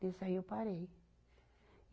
Desse aí eu parei.